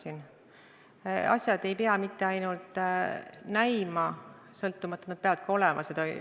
Aga asjad ei pea mitte ainult näima sõltumatud, nad peavad ka olema seda.